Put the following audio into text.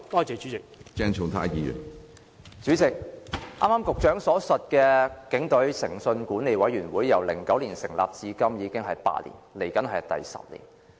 主席，局長剛才所說的"警隊誠信管理委員會"，自2009年成立至今已經8年，不久便會踏入第十年。